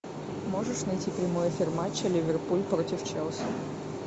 можешь найти прямой эфир матча ливерпуль против челси